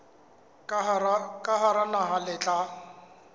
ka hara naha le tla